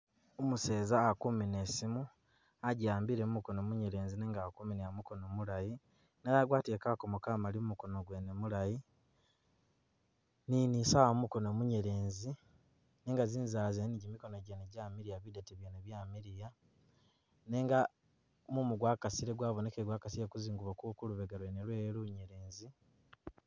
Umuseza akumina i'siimu agi'ambile mumukono munyelezi nga ali kuminila mukono mulayi, nenga agwatile kakoomo kamaali m'koono gwene mulayi ne ni i'sawa kumukono munyelezi. Nenga zizanzala zene ni gimikono mwene jamilya bidete byeene byamiliya nenga mumu gwakasile gwabonikile gwakasile kuzingubo ku kulubega lwene lwewe lunyeelezi.